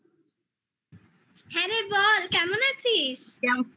হ্যাঁ রে বল কেমন আছিস?